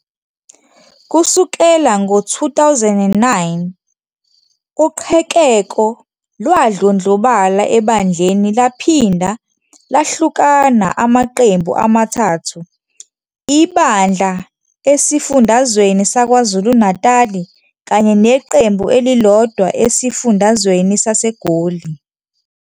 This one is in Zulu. Kusukela ngo-2009, uqhekeko lwadlondlobala ebandleni laphinda lahlukana amaqembu amathathu ibandla esifundazweni saKwaZulu-Natal kanye neqembu elilodwa esifundazweni saseGoli.